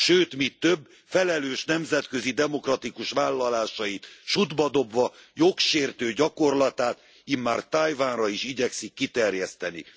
Sőt mi több, felelős nemzetközi, demokratikus vállalásait sutba dobva jogsértő gyakorlatát immár Tajvanra is igyekszik kiterjeszteni.